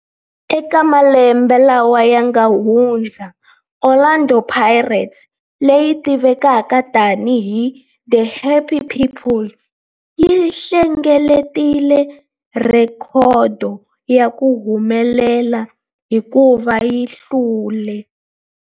Eka malembe lawa yanga hundza, Orlando Pirates, leyi tivekaka tani hi 'The Happy People', yi hlengeletile rhekhodo ya ku humelela hikuva yi hlule